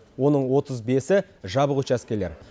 оның отыз бесі жабық учаскелер